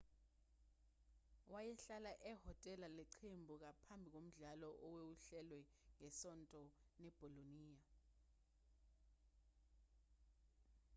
wayehlala ehhotela leqembu ngaphambi komdlalo owawuhlelelwe ngesonto nebolonia